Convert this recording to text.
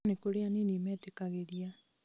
no nĩ kũrĩ anini metĩkagĩria